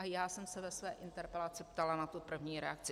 A já jsem se ve své interpelaci ptala na tu první reakci.